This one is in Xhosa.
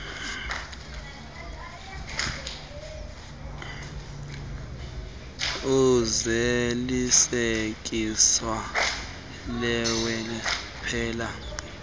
uzalisekiso lweli phepha